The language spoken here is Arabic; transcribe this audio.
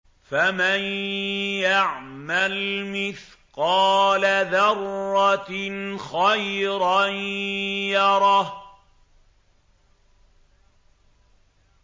فَمَن يَعْمَلْ مِثْقَالَ ذَرَّةٍ خَيْرًا يَرَهُ